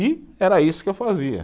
E era isso que eu fazia.